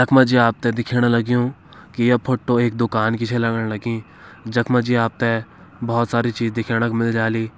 यख मजी आपते दिखेणा लग्यूं की ये फोट्टो एक दुकान की छ लगण लगीं। जख मजी आपते बोहोत सारी चीज दिखेणक मिल जाली।